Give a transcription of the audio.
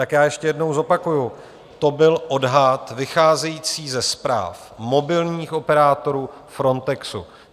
Tak já ještě jednou zopakuju, to byl odhad vycházející ze zpráv mobilních operátorů, Frontexu.